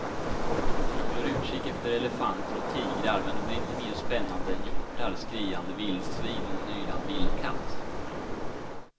Jag håller utkik efter elefanter och tigrar men det blir inte mer spännande än hjortar, skriande vildsvin och en ylande vildkatt.